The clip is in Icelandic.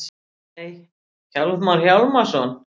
Nei, Hjálmar Hjálmarsson.